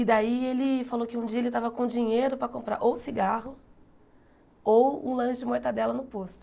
E daí ele falou que um dia ele tava com dinheiro para comprar ou cigarro ou um lanche de mortadela no posto.